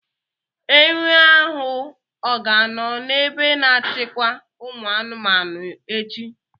Enwe ahụ ọ ga-anọ n'ebe a na-achịkwa ụmụ anụmanụ echi?